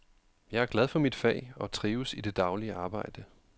Jeg er glad for mit fag og trives i det daglige arbejde.